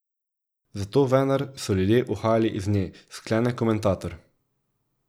Zato vendar so ljudje uhajali iz nje, sklene komentator.